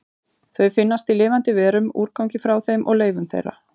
Þau finnast í lifandi verum, úrgangi frá þeim og leifum þeirra.